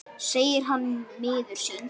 segir hann miður sín.